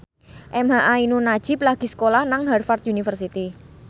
emha ainun nadjib lagi sekolah nang Harvard university